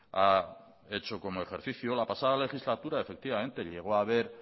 ha hecho como ejercicio la pasada legislatura efectivamente llegó a haber